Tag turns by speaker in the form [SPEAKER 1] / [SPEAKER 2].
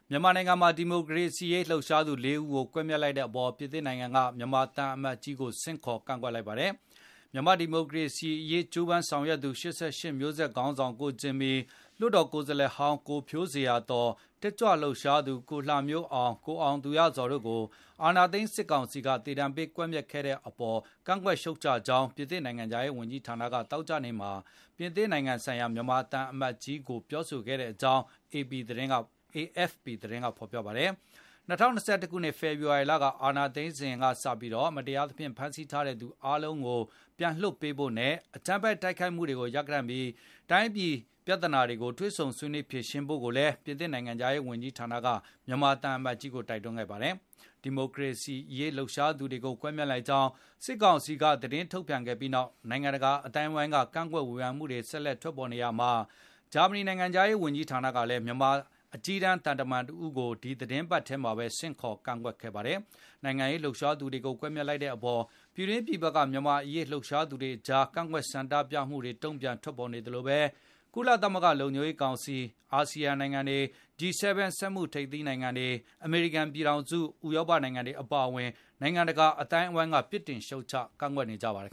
[SPEAKER 1] မြန်မာနိုင်ငံမှာ ဒီမိုကရေစီရေး လှုပ်ရှားသူ ၄ ဦးကို ကွပ်မျက်လိုက်တဲ့အပေါ် ပြင်သစ်နိုင်ငံက မြန်မာသံအမတ်ကြီးကို ဆင့်ခေါ်ကန့်ကွက်လိုက်ပါတယ်။ မြန်မာ့ဒီမိုရေစီရေး ကြိုးပမ်းဆောင်ရွက်သူ ၈၈မျိုးဆက်ခေါင်းဆောင်ကိုဂျင်မီ၊ လွှတ်တော် ကိုယ်စားလှယ်ဟောင်း ကိုဖြိုးဇေယျာသော်၊ တက်ကြွရှားသူ ကိုလှမျိုးအောင်၊ ကိုအောင်သူရဇော် တို့ကို အာဏာသိမ်း စစ်ကောင်စီက သေဒဏ်ပေး ကွက်မျက်ခဲ့တဲ့အပေါ် ကန့်ကွက်ရှုံချကြောင်း ပြင်သစ်နိုင်ငံခြားရေးဝန်ကြီးဌာနက သောကြာနေ့က ပြင်သစ် နိုင်ငံဆိုင်ရာမြန်မာသံအမတ်ကြီး ကိုပြောဆိုခဲ့ကြောင်း AFP သတင်းက ဖော်ပြခဲ့တာပါ။ ၂၀၂၁ ခုနှစ် ဖေဖေါ်ဝါရီလ အာဏာသိမ်းစဉ်ကစပြီး မတရားသဖြင့် ဖမ်းဆီးထားတဲ့သူ အားလုံးကို ပြန်လွှတ်ပေးဖို့နဲ့ အကြမ်းဖက်တိုက်ခိုက်မှုတွေကို ရပ်တန့်ပြီး တိုင်းပြည်ပြဿနာတွေကို တွေ့ဆုံဆွေးနွေးဖြေရှင်းဖို့ကိုလည်း ပြင်သစ်နိုင်ငံခြားရေး ဝန်ကြီးဌာနက မြန်မာသံအမတ်ကို တိုက်တွန်းပြောဆိုခဲ့ပါတယ်။ ဒီမိုကရေစီရေး လှုပ်ရှားသူတွေကို ကွပ်မျက်လိုက်ကြောင်း စစ်ကောင်စီက သတင်းထုတ်ပြန်ခဲ့ပြီးနောက် နိုင်ငံတကာ အသိုင်းအဝိုင်းက ကန့်ကွက်ဝေဖန်မှုတွေ ဆက်လက် ထွက်ပေါ်နေရာမှာ ဂျာမနီနိုင်ငံခြားရေး ဝန်ကြီးဌာနကလည်း မြန်မာအကြီးတန်း သံတမန်တဦးကို ဒီသီတင်းပတ်ထဲမှာပဲ ဆင့်ခေါ်ကန့်ကွက်ခဲ့တာပါ။ နိုင်ငံရေး လှုပ်ရှားသူတွေကို ကွပ်မျက်လိုက်တဲ့အပေါ် ပြည်တွင်းပြည်ပက မြန်မာ့အရေး လှုပ်ရှားသူတွေကြား ကန့်ကွက်ဆန္ဒပြ တုံပြန်မှုတွေ ထွက်ပေါ်နေသလို၊ ကုလသမဂ္ဂလုံခြုံရေးကောင်စီ၊ အာစီယံနိုင်ငံတွေ၊ G7 စက်မှုထိပ်သီးနိုင်ငံတွေ၊ အမေရိကန်ပြည်ထောင်စုနဲ့ ဥရောပနိုင်ငံတွေ အပါအဝင် နိုင်ငံတကာ အသိုင်းဝိုင်းက ပစ်တင်ရှုံံ့ချကန့်ကွက်ခဲ့ကြပါတယ်